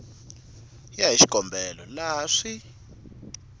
ya hi xikombelo laha swi